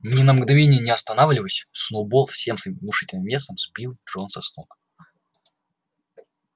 ни на мгновенье не останавливаясь сноуболл всем своим внушительным весом сбил джонса с ног